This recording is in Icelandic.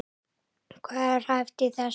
Hvað er hæft í þessu?